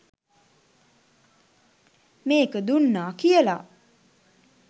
මේක දුන්නා කියලා